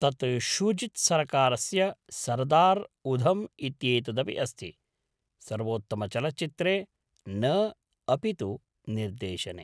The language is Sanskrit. तत्र शूजित् सरकारस्य सरदार् उधम् इत्येतदपि अस्ति, सर्वोत्तमचलचित्रे न अपि तु निर्देशने।